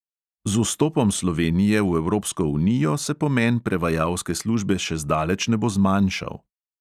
Z vstopom slovenije v evropsko unijo se pomen prevajalske službe še zdaleč ne bo zmanjšal.